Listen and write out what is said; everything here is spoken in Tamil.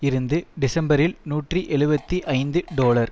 இருந்து டிசம்பரில் நூற்றி எழுபத்து ஐந்து டொலர்